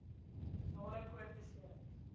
spinale koord beserings